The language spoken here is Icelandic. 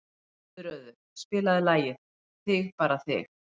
Guðröður, spilaðu lagið „Þig bara þig“.